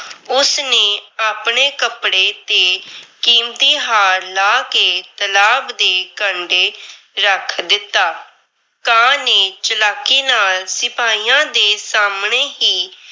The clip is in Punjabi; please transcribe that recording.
ਉਸ ਨੇ ਆਪਣੇ ਕੱਪੜੇ ਤੇ ਕੀਮਤੀ ਹਾਰ ਲਾਹ ਕੇ ਤਲਾਬ ਦੇ ਕੰਢੇ ਰੱਖ ਦਿੱਤਾ। ਕਾਂ ਨੇ ਚਲਾਕੀ ਨਾਲ ਸਿਪਾਹੀਆਂ ਦੇ ਸਾਹਮਣੇ ਹੀ